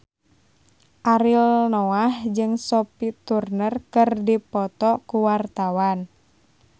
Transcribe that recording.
Ariel Noah jeung Sophie Turner keur dipoto ku wartawan